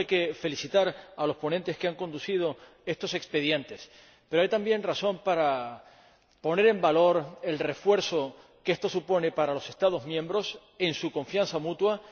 Por tanto, hay que felicitar a los ponentes que han conducido estos expedientes, pero también hay razones para poner en valor el refuerzo que esto supone para los Estados miembros en su confianza mutua